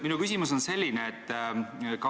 Minu küsimus on selline.